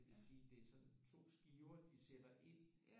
Det vil sige det er to skiver de sætter ind